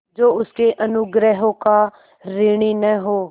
जो उसके अनुग्रहों का ऋणी न हो